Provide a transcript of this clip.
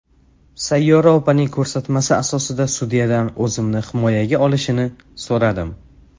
Sayyora opaning ko‘rsatmasi asosida sudyadan o‘zimni himoyaga olishini so‘radim.